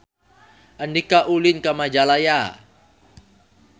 Andika ulin ka Majalaya